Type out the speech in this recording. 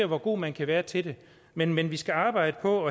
hvor god man kan være til det men men vi skal arbejde på